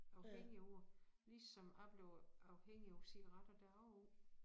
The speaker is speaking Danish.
Afhængige af det ligesom jeg blev afhængig af cigaretter da jeg var ung